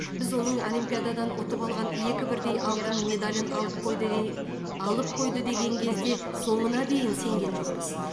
біз оның олимпиададан ұтып алған екі бірдей алтын медалын алып қойды де алып қойды деген кезде соңына дейін сенген жоқпыз